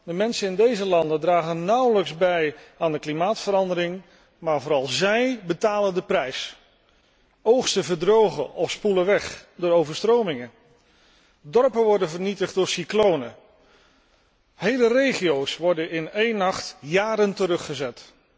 De mensen in deze landen dragen nauwelijks bij aan de klimaatverandering, maar vooral zij betalen de prijs. Oogsten verdrogen of spoelen weg door overstromingen, dorpen worden vernietigd door cyclonen, hele regio's worden in één nacht jaren teruggezet.